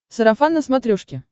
сарафан на смотрешке